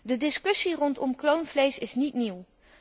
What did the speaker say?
De discussie rondom kloonvlees is niet nieuw.